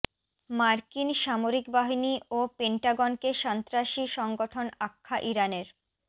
মার্কিন সামরিক বাহিনী ও পেন্টাগনকে সন্ত্রাসী সংগঠন আখ্যা ইরানের